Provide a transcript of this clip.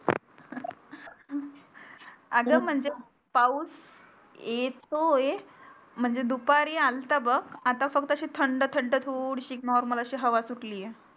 अगं म्हणजे पाऊस येतोय म्हणजे दुपारी आलता बघ आता फक्तशी थंड थंड थोडीशी normal अशी हवा सुटली आहे